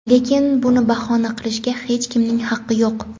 Lekin buni bahona qilishga hech kimning haqqi yo‘q.